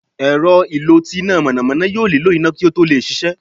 èrọ́ ìló tí ina mọnamọna yóò niló iná ki o to lẹ ṣiṣẹ.